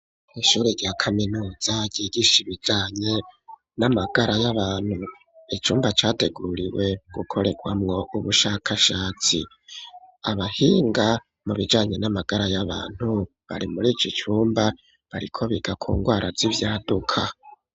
ishuri rya kaminuza ryigisha ibijanye n'amagara y'abantu icumba categuriwe gukoregwamo ubushakashatsi abahinga mu bijanye n'amagara y'abantu bari muri iki cumba bariko biga ku ndwara z'ivyaduka